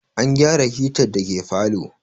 An gyara hitar da ke parlour